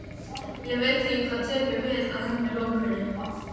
Ég veit ekki hvað tekur við að henni lokinni.